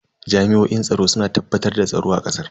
Jami'oin tsaro suna tabbatar da tsaro a kasar.